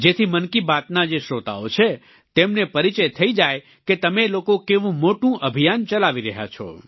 જેથી મન કી બાતના જે શ્રોતાઓ છે તેમને પરિચય થઈ જાય કે તમે લોકો કેવું મોટું અભિયાન ચલાવી રહ્યા છો